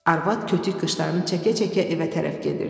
Arvad kötük qışlarını çəkə-çəkə evə tərəf gedirdi.